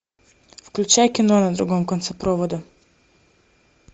включай кино на другом конце провода